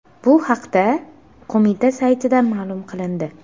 Bu haqda qo‘mita saytida ma’lum qilindi .